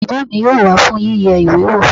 Bàbá mi yóò wá fún yíyẹ ìwé wò